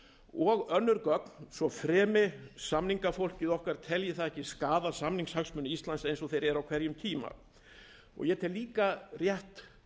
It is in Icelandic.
og önnur gögn svo fremi samningafólkið okkar telji það ekki skaða samningshagsmuni íslands eins og þeir eru á hverjum tíma ég tel líka rétt